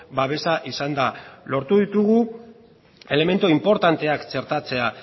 babesa izan da lortu ditugu elementu inportanteak txertatzea